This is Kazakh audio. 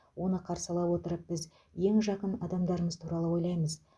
оны қарсы ала отырып біз ең жақын адамдарымыз туралы ойлаймыз